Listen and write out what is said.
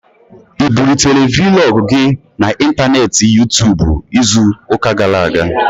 Ị bulitere Vlọg gị na n'intaneeti Yuu-tuubu izu ụka gara aga?